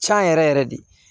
Can yɛrɛ yɛrɛ de